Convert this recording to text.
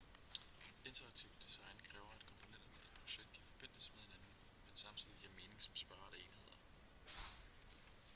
interaktivt design kræver at komponenterne i et projekt kan forbindes med hinanden men samtidig giver mening som separate enheder